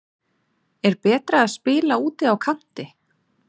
Er betra að spila úti á kanti?